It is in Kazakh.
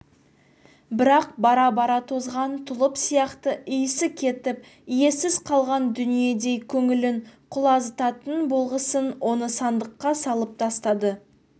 бірақ бара-бара тозған тұлып сияқты иісі кетіп иесіз қалған дүниедей көңілін құлазытатын болғасын оны сандыққа салып тастады